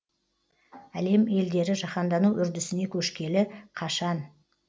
әлем елдері жаһандану үрдісіне көшкелі қашан